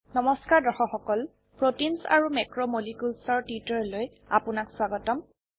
নমস্কাৰ দৰ্শক সকলProteins আৰু মেক্ৰোমলিকিউলছ এৰ টিউটোৰিয়েললৈ আপোনাক স্বাগতম